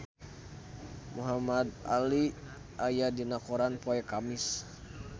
Muhamad Ali aya dina koran poe Kemis